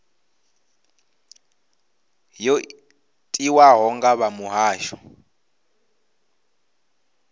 yo tiwaho nga vha muhasho